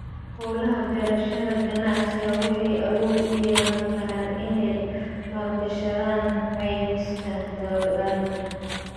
Hawlaha beerashada ganacsiga waxay awood u yeelan karaan inay maalgashadaan caymiska dalagga.